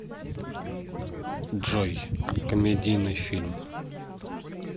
джой комедийный фильм